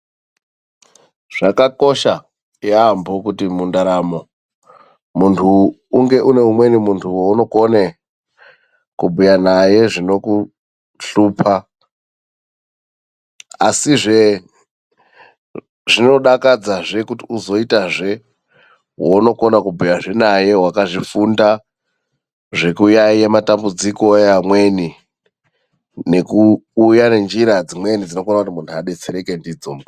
Zvakakosha yaamho kuti mundaramo muntu unge une umweni muntu waunokone kubhuya naye zvinokushlupa. Asizve, zvinodakadzazve kuti uzoitazve wounokona kubhuyazve naye wakazvifunda zvekuyaye matambudziko eamweni, nekuuya nenjira dzimweni, dzinoita kuti mumwe abetsereke ndidzo.